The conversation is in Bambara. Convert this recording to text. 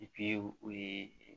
o ye